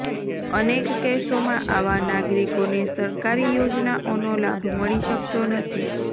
અનેક કેસોમાં આવા નાગરિકોને સરકારી યોજનાઓનો લાભ મળી શકતો નથી